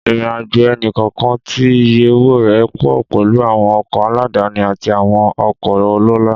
Ìrìnàjò ẹnì kọ̀ọ̀kan tí iye owó rẹ̀ pọ̀ pẹ̀lú àwọn ọkọ̀ aládàáni àti àwọn ọkọ̀ ọlọ́lá.